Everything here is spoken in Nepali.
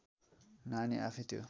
नानी आफैँ त्यो